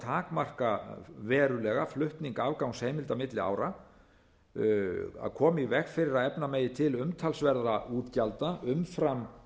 takmarka verulega flutning afgangsheimilda milli ára að koma í veg fyrir að efna megi til umtalsverðra útgjalda umfram